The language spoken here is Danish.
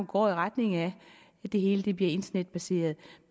går i retning af at det hele bliver internetbaseret